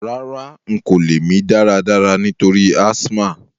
Rárá, n ko lẹ́ mí dáradára nítorí asthma